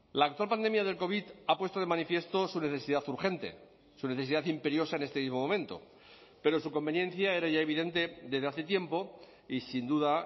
la actual pandemia del covid ha puesto de manifiesto su necesidad urgente su necesidad imperiosa en este mismo momento pero su conveniencia era ya evidente desde hace tiempo y sin duda